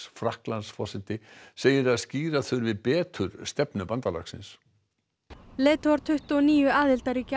Frakklandsforseti segir að skýra þurfi betur stefnu bandalagsins leiðtogar tuttugu og níu aðildarríkja